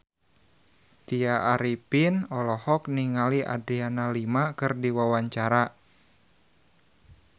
Tya Arifin olohok ningali Adriana Lima keur diwawancara